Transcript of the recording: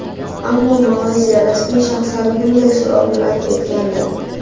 Ammo Malayziya rasmiy shaxslari bunday so‘rovni rad etgandi.